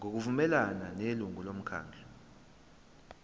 ngokuvumelana nelungu lomkhandlu